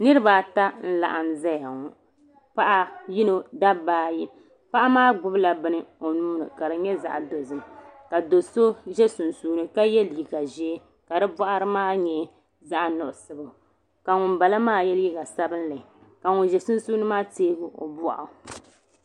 Niriba ata n laɣim zaya ŋɔ paɣa yino dabba ayi paɣa maa gbibila nini o nuuni ka di nyɛ zaɣa dozim ka do'so za sunsuuni ka ye liiga ʒee ka di boɣari maa nyɛ zaɣa nuɣuso ka ŋunbala maa ye liiga sabinli ka ŋun za sunsuuni maa teegi o nuu.